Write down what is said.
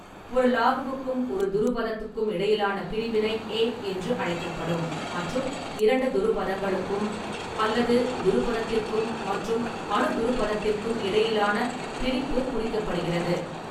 ஒரு லாகுவுக்கும் ஒரு துருபதத்துக்கும் இடையிலான பிரிவினை 'ஏ' என்று அழைக்கப்படும், மற்றும் இரண்டு துருபதங்களுக்கும் அல்லது துருபதத்திற்கும் மற்றும் அனுதுருபதத்திற்கும் இடையிலான பிரிப்பு குறிக்கப்படுகிறது.